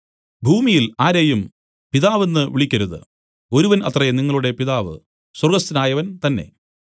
ഭൂമിയിൽ ആരെയും പിതാവ് എന്നു വിളിക്കരുത് ഒരുവൻ അത്രേ നിങ്ങളുടെ പിതാവ് സ്വർഗ്ഗസ്ഥനായവൻ തന്നേ